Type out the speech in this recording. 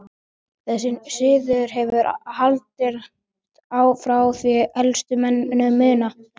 Þessi siður hefur haldist frá því elstu menn muna.